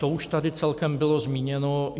To už tady celkem bylo zmíněno.